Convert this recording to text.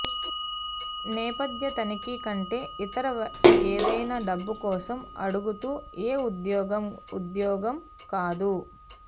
నేపథ్య తనిఖీ కంటే ఇతర ఏదైనా డబ్బు కోసం అడుగుతూ ఏ ఉద్యోగం ఉద్యోగం కాదు